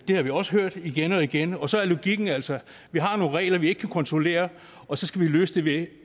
har vi også hørt igen og igen og så er logikken altså at vi har nogle regler vi ikke kan kontrollere og så skal vi løse det